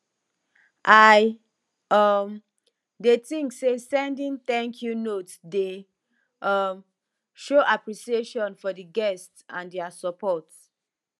i um dey think say sending thankyou notes dey um show appreciation for di guests and dia support